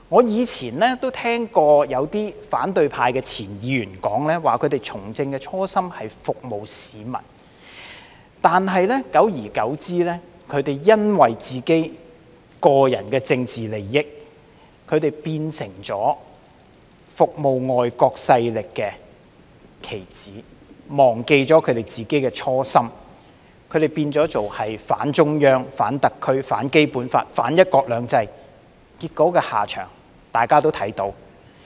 以往我曾聽過有些反對派前議員說，他們從政的初心是服務市民；但久而久之，他們為了個人的政治利益，變成為服務外國勢力的棋子，忘記他們自己的初心，變成反中央、反特區、反《基本法》、反"一國兩制"，結果他們的下場，大家也看到。